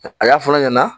A y'a fɔ ne ɲɛna